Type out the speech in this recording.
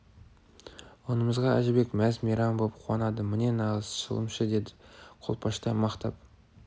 онымызға әжібек мәз-мейрам боп қуанады міне нағыз шылымшы деді қолпаштай мақтап